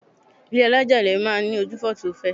Ilé́ alájà-ilẹ̀ máa ń ní ojúfò tí ó fẹ̀.